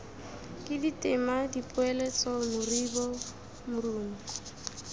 ke ditema dipoeletso moribo morumo